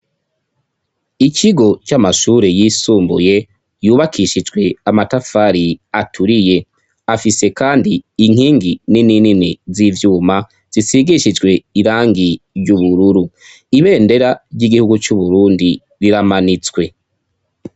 Ikigo c'amashure yisumbuye yubakishijwe amatafari aturiye. Afise kandi inkingi nini nini z'ivyuma zisigishijwe irangi ry ubururu. Ibendera ry'igihugu c'Uburundi riramanitswe.